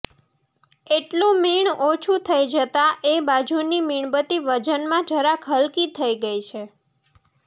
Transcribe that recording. એટલું મીણ ઓછું થઈ જતાં એ બાજુની મીણબત્તી વજનમાં જરાક હલકી થઈ છે